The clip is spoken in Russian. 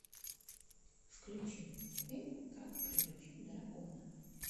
включи мультфильм как приручить дракона